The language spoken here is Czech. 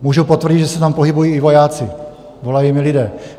Můžu potvrdit, že se tam pohybují i vojáci, volají mi lidé.